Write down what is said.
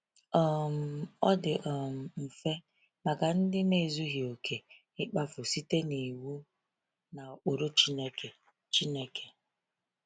um Ọ dị um mfe maka ndị na-ezughị okè ịkpafu site n’iwu na ụkpụrụ Chineke. Chineke.